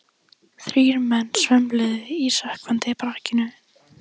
Þrír menn svömluðu um í sökkvandi brakinu.